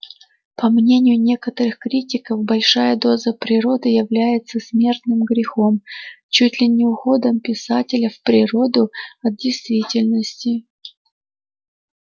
по мнению некоторых критиков большая доза природы является смертным грехом чуть ли не уходом писателя в природу от действительности